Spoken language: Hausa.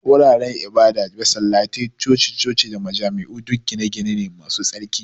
Guraren ibada, masallatai, coci-coci da majami'u duk gine-gine ne masu tsarki.